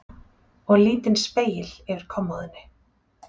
Og lítinn spegil yfir kommóðunni.